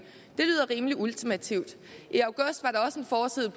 det lyder rimelig ultimativt i august var der også en forside